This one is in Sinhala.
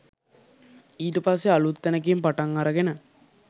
ඊට පස්සෙ අලුත් තැනකින් පටන් අරගෙන